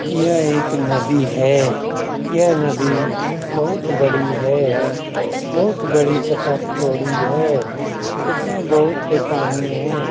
यह एक नदी है। यह नदी बहुत बड़ी है। बहुत बड़ी तथा चौड़ी है। इसमें बहुत से पानी है।